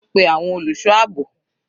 Pe àwọn olùṣọ́ àbò.